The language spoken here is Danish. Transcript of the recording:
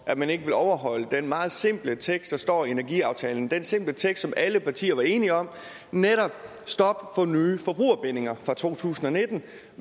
at man ikke vil overholde den meget simple tekst der står i energiaftalen den simple tekst som alle partier var enige om netop stop for nye forbrugerbindinger fra to tusind og nitten